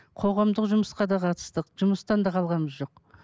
қоғамдық жұмысқа да қатыстық жұмыстан да қалғанымыз жоқ